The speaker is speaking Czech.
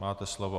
Máte slovo.